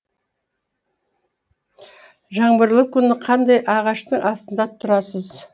жаңбырлы күні қандай ағаштың астында тұрасыз